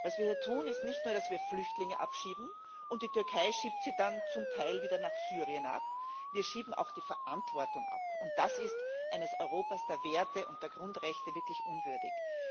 Was wir hier tun, ist nicht nur, dass wir Flüchtlinge abschieben, und die Türkei schiebt sie dann zum Teil wieder nach Syrien ab. Wir schieben auch die Verantwortung ab, und das ist eines Europas der Werte und der Grundrechte wirklich unwürdig.